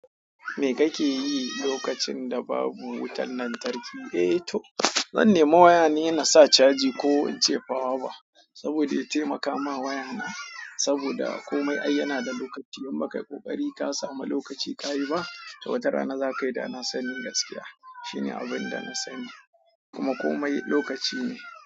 Me kake yi lokacin da babu wutan lantarki? Eh to, zan nemi waya ne, na sa caji ko in cefawa ba. Saboda ya taimaka ma waya na. Saboda komai ai yana da lokaci idan bakayi kokari ka samu lokaci ka yi ba, to wata rana zakayi dana sani gaskiya. Shine abinda na sani. Kuma komai lokaci ne.